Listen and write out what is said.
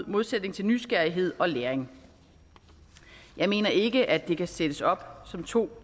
modsætning til nysgerrighed og læring jeg mener ikke at det kan sættes op som to